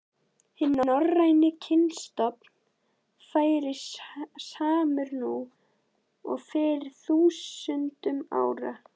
Hinn norræni kynstofn væri samur nú og fyrir þúsundum ára.